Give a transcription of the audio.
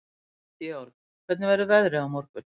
Georg, hvernig verður veðrið á morgun?